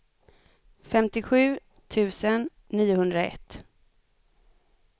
femtiosju tusen niohundraett